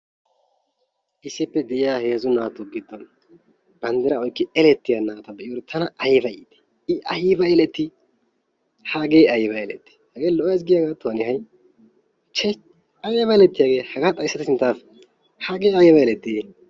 issippe deiya heezzu naatu giddon bandiraa oyqqidi eleytiya na"ay atan ayba iitii i ayba eletii? hagee ayba eletii agee lo'ays gi hanee ha'i chis hage ayba eletii